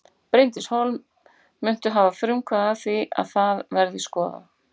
Bryndís Hólm: Muntu hafa frumkvæði að því að það verði skoðað?